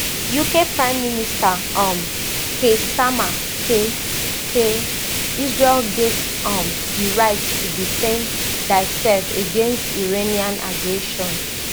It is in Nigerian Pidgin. uk prime minister um keir starmer say say israel get um di right to defend diasef against iranian aggression